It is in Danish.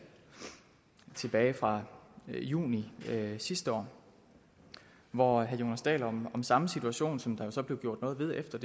tilbage fra juni sidste år hvor herre jonas dahl om den samme situation som der jo så blev gjort noget ved efter